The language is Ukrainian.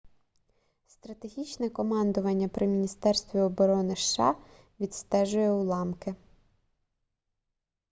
стратегічне командування при міністерстві оборони сша відстежує уламки